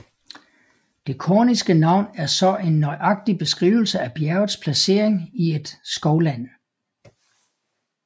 Det korniske navn er så en nøjagtig beskrivelse af bjergets placering i et skovland